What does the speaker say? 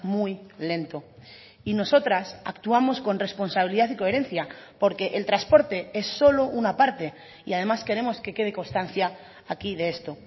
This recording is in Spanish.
muy lento y nosotras actuamos con responsabilidad y coherencia porque el transporte es solo una parte y además queremos que quede constancia aquí de esto